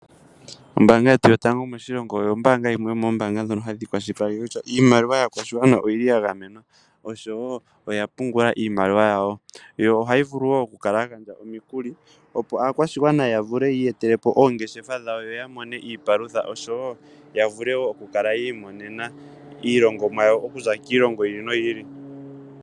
Ombaanga yetu yotango moshilongo oyo yimwe yomoombaanga ndhono hadhi kwashilipaleke kutya iimaliwa yaakwashigwana oyili ya gamwena oshowo oya pungula iimaliwa yawo yo ohayi vulu wo oku kala ya gandja omikuli opo aakwashigwana ya vule yi iyetele po oongeshefa dhawo yo yamone iipalutha oshowo ya vule ku kala yi i monena iilongomwa yawo okuza kiilongo yi ili noyi ili